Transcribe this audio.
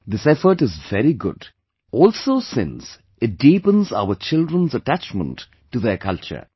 This effort is very good, also since it deepens our children's attachment to their culture